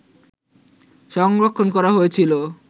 সংরক্ষণ করা হয়েছিল